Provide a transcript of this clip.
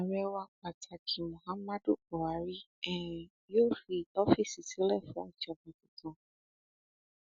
ààrẹ wa pàtàkì muhammadu buhari um yóò fi ọfíìsì sílẹ fún ìjọba tuntun um